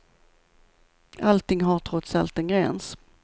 Allting har trots allt en gräns.